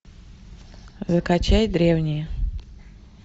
закачай древние